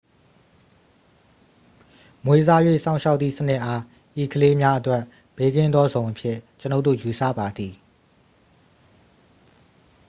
မွေးစား၍ စောင့်ရှောက်သည့်စနစ် အား ဤကလေးများအတွက် ဘေးကင်းသောဇုန်အဖြစ် ကျွန်ုပ်တို့ ယူဆပါသည်